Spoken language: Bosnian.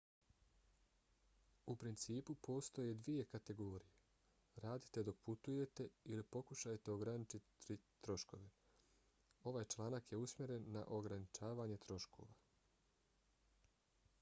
u principu postoje dvije kategorije: radite dok putujete ili pokušajte ograničiti troškove. ovaj članak je usmjeren na ograničavanje troškova